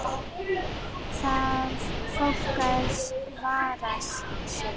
Þarf fólk að vara sig?